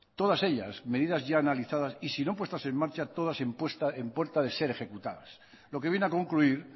todas ellas medidas ya analizadas y si no puestas en marcha todas en puestas de ser ejecutadas lo que viene a concluir